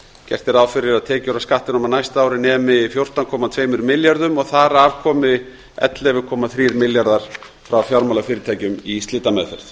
gert er ráð fyrir að tekjur af skattinum á næsta ári nemi fjórtán komma tvö milljörðum og að þar af komi ellefu komma þrjú milljarðar frá fjármálafyrirtækjum í slitameðferð